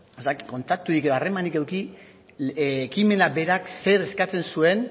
kontakturik edo harremanik eduki ekimenak berak zer eskatzen zuen